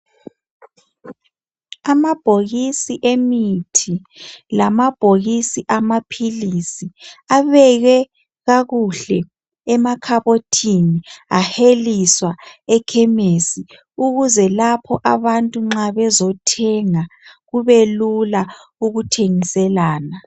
Amabhokisi emithi lamabhokisi amaphilisi abekwe kakuhle emakhabothini aheliswa ekhemesi ukuze lapho abantu nxa bezothenga kube lula ukuthengiselana.